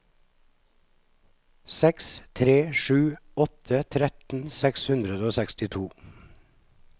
seks tre sju åtte tretten seks hundre og sekstito